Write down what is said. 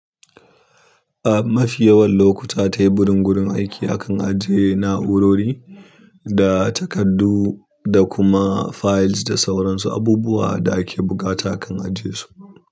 A mafi yawan lokuta, teburin gurin aiki akan ajjiye na'urori da takardu da kuma fayils da sauransu abubuwa da ake buƙata akan ajiyesu.